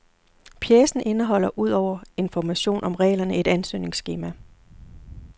Pjecen indeholder ud over information om reglerne et ansøgningsskema.